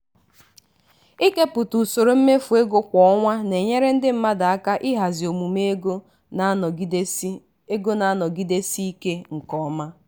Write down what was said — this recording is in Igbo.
ịkepụta usoro mmefu ego kwa ọnwa na-enyere ndị mmadụ aka ihazi omume ego na-anọgịdesi ego na-anọgịdesi ike nke ọma.